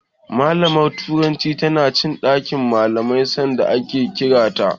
Malamar turancin tana cikin ɗakin malaman sanda aka kira ta.